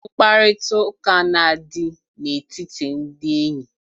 Mkparịtaụka na-adị na-etiti ndị enyi.